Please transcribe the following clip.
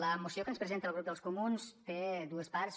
la moció que ens presenta el grup dels comuns té dues parts